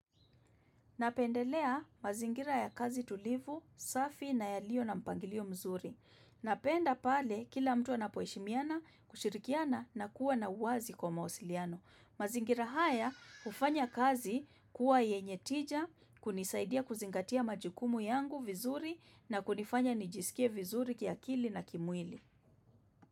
Napendelea mazingira ya kazi tulivu, safi na yalio na mpangilio mzuri. Napenda pale kila mtu anapoheshimiana kushirikiana na kuwa na uwazi kwa mawasiliano. Mazingira haya hufanya kazi kuwa yenye tija, kunisaidia kuzingatia majukumu yangu vizuri na kunifanya nijisikie vizuri kiakili na kimwili.